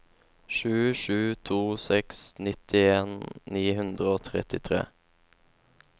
sju sju to seks nittien ni hundre og trettitre